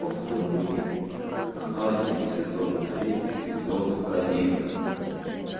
сыны анархии сезон три эпизод один